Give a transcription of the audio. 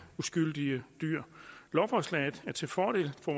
uskyldige dyr lovforslaget er til fordel for